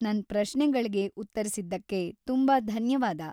ನನ್ ಪ್ರಶ್ನೆಗಳ್ಗೆ ಉತ್ತರಿಸಿದ್ದಕ್ಕೆ ತುಂಬಾ ಧನ್ಯವಾದ.